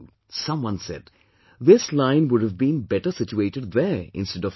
' Someone said, 'This line would have been better situated there instead of here